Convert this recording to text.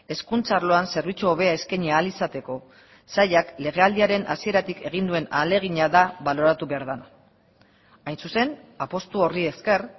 hezkuntza arloan zerbitzu hobea eskaini ahal izateko sailak legealdiaren hasieratik egin duen ahalegina da baloratu behar da hain zuzen apustu horri esker